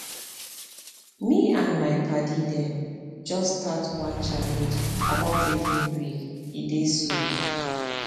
me and my padi dem just start one challenge about taking break e dey sweet